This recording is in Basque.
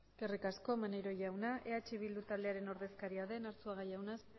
eskerrik asko maneiro jauna eh bildu taldearen ordezkaria den arzuaga jauna